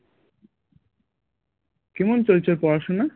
কেমন চলছে ওর পড়াশোনা?